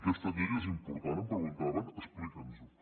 aquesta llei és important em preguntaven explica’ns ho